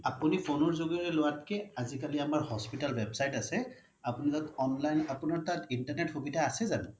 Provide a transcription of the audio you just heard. আপুনি phone ৰ যোগেৰে লোৱাত কে আজিকালি আমাৰ হস্পিটেল website আছে আপুনি তাত online আপোনাৰ তাত internet সুবিধা আছে জানো